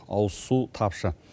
ауызсу тапшы